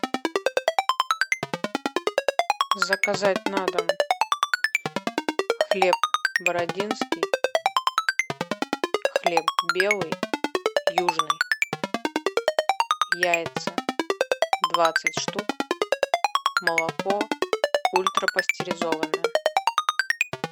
заказать на дом хлеб бородинский хлеб белый южный яйца двадцать штук молоко ультрапастеризованное